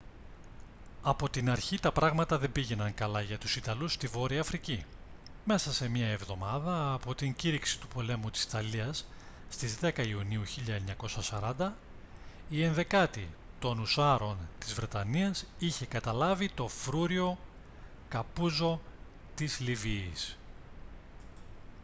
από την αρχή τα πράγματα δεν πήγαιναν καλά για τους ιταλούς στη βόρεια αφρική μέσα σε μία εβδομάδα από την κήρυξη του πολέμου της ιταλίας στις 10 ιουνίου του 1940 η 11η των ουσσάρων της βρετανίας είχε καταλάβει το φρούριο capuzzo της λιβύης